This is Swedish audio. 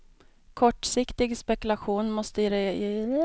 Kortsiktig spekulation måste regeringarna sätta stopp för.